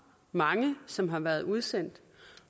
mange som har været udsendt